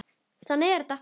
Þannig er þetta.